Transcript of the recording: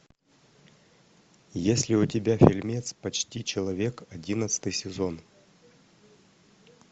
есть ли у тебя фильмец почти человек одиннадцатый сезон